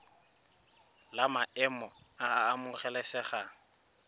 la maemo a a amogelesegang